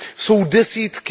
jsou desítky.